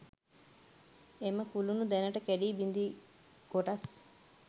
එම කුළුණු දැනට කැඩී බිඳී කොටස්